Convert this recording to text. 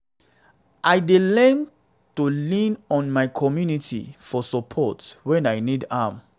i dey learn to lean on my community for support when i need am.